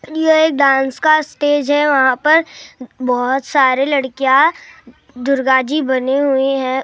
ये डांस का स्टेज है वहाँ पर बहुत सारी लड़कियां दुर्गाजी बनी हुई है।